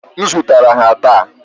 M zụtara ha taa.